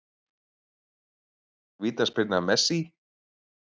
Vítaspyrna Messi?